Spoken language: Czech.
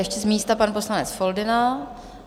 Ještě z místa pan poslanec Foldyna.